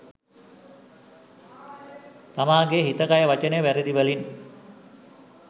තමාගේ හිත කය වචනය වැරැදි වලින්